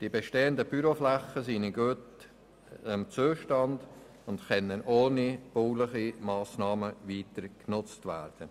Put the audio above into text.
Die bestehenden Büroflächen sind in einem guten Zustand und können ohne bauliche Massnahmen weiter genutzt ist der werden.